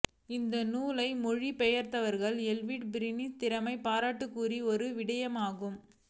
இந்நூலை மொழிபெயர்த்தவரான எட்வேட் பீரிஸின் திறமையும் பாராட்டுக்குரிய ஒரு விடயமாகும்